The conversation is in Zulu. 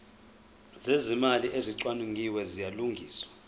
zezimali ezicwaningiwe ziyalungiswa